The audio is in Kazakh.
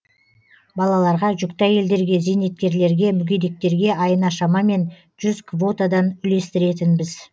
балаларға жүкті әйелдерге зейнеткерлерге мүгедектерге айына шамамен жүз квотадан үлестіретінбіз